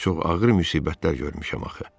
Amma çox ağır müsibətlər görmüşəm axı.